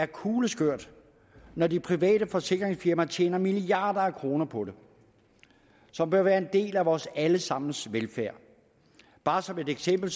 kugleskørt når de private forsikringsfirmaer tjener milliarder af kroner på det som bør være en del af vores allesammens velfærd bare som et eksempel